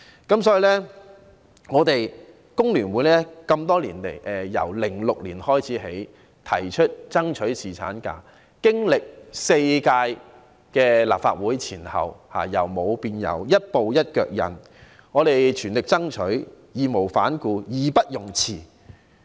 因此多年來，工聯會自2006年開始提出爭取侍產假，前後經歷4屆立法會，在由無到有的過程中，一步一腳印，全力爭取、義無反顧、義不容辭。